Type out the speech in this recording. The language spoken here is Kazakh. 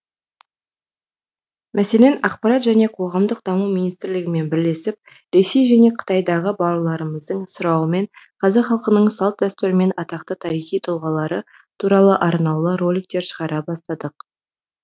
мәселен ақпарат және қоғамдық даму министрлігімен бірлесіп ресей және қытайдағы бауырларымыздың сұрауымен қазақ халқының салт дәстүрі мен атақты тарихи тұлғалары туралы арнаулы роликтер шығара бастадық